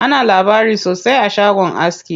Ana labari sosai a shagon aski.